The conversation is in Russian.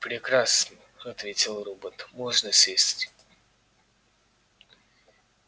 прекрасно ответил робот можно сесть